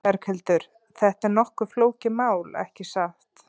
Berghildur, þetta er nokkuð flókið mál, ekki satt?